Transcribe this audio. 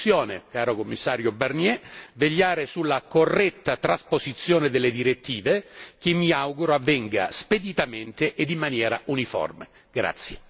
Spetterà adesso alla Commissione, caro Commissario Barnier, vegliare sulla corretta trasposizione delle direttive, che mi auguro avvenga speditamente e in maniera uniforme.